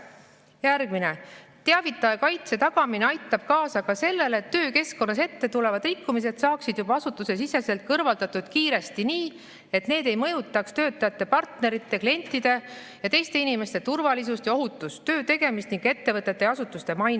Järgmine: "Teavitaja kaitse tagamine aitab kaasa ka sellele, et töökeskkonnas ette tulevad rikkumised saaksid juba asutusesiseselt kõrvaldatud kiiresti nii, et need ei mõjutaks töötajate, partnerite, klientide jt inimeste turvalisust ja ohutust, töö tegemist ning ettevõtete või asutuste mainet.